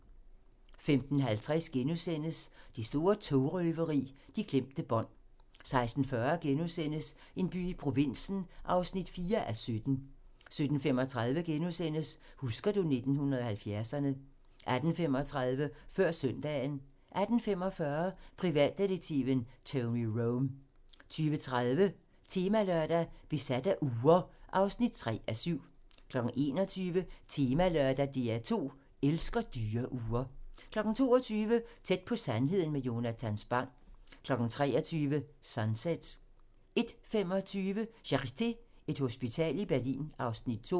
15:50: Det store togrøveri – de glemte bånd * 16:40: En by i provinsen (4:17)* 17:35: Husker du 1970'erne ...* 18:35: Før søndagen 18:45: Privatdetektiven Tony Rome 20:30: Temalørdag: Besat af ure (3:7) 21:00: Temalørdag: DR2 elsker dyre ure 22:00: Tæt på sandheden med Jonatan Spang 23:00: Sunset 01:25: Charité - Et hospital i Berlin (Afs. 2)